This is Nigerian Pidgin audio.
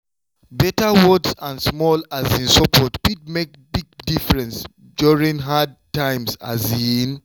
better words and small um support fit make big difference during hard times. um